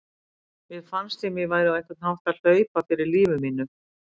Mér fannst sem ég væri á einhvern hátt að hlaupa fyrir lífi mínu.